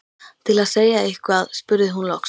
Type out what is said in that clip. Til að segja eitthvað spurði hún loks: